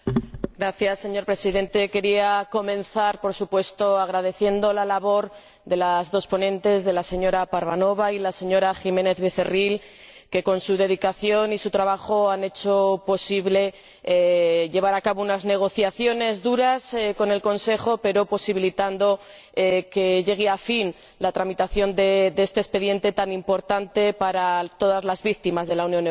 Señor Presidente, quería comenzar, por supuesto, agradeciendo la labor de las dos ponentes, la señora Parvanova y la señora Jiménez Becerril, que, con su dedicación y su trabajo han hecho posible llevar a cabo unas negociaciones duras con el Consejo, pero posibilitando que llegue a fin la tramitación de este expediente tan importante para todas la víctimas de la Unión Europea.